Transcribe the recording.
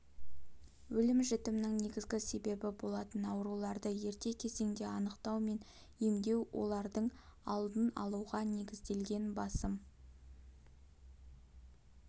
өлім-жітімнің негізгі себебі болатын ауруларды ерте кезеңде анықтау мен емдеу олардың алдын алуға негізделген басым